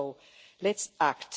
So let's act.